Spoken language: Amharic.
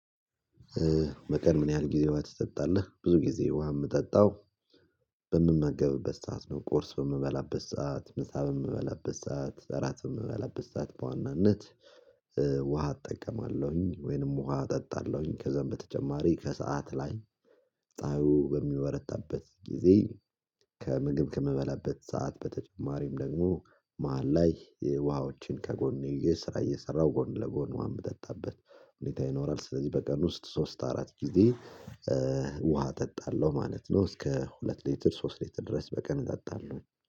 በቀል ምን ያህል ጊዜ ውሃ ትጠጣለህ? ብዙ ጊዜ ውሃ ምጠጣው። በምመገብበት ሰዓት ነው ቁርስ በምበላበት ሰዓት ምሳ በምበላበት ሰዓት እራት በምበላበት ሰዓት በዋናነት ውሃ እጠቀማለሁኝ። ወይንም ውሃ እጠጣለሁኝ ከዛም በተጨማሪ ከሰአት ላይ ጻዩ በሚበረታበት ጊዜ። ከምግብ ከምበላበት ሰዓት በተጨማሪም ደግሞ መሃል ላይ የውሃዎችን ከጎኔ ስራ እየሰራሁ ጎን ለጎን ውሃ ምጠጣበት ሁኔታ ይኖራል። ስለዚህ በቀን ውስጥ ሶስት አራት ጊዜ ውሃ እጠጣለሁ ማለት ነው። እስከ ሁለት ሌትር ሶስት ሌትር ድረስ በቀን እጠጣለሁኝ